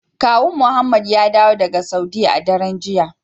Kawun muhammed ya dawo daga saudiya a daren jiya.